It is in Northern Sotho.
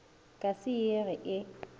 ka se ye ge e